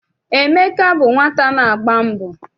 Emeka bụ nwata na-agba mbọ.